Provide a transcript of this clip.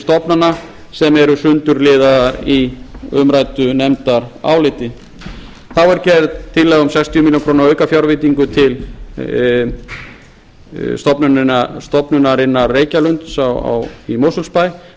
stofnana sem eru sundurliðaðar í umræddu nefndaráliti þá er gerð tillaga um sextíu milljónir króna aukafjárveitingu til stofnunarinnar reykjalundar í mosfellsbæ